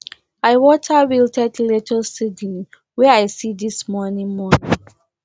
i water wilted lettuce seedlings wey i see this morning morning